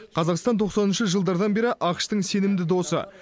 қазақстан тоқсаныншы жылдардан бері ақш тың сенімді досы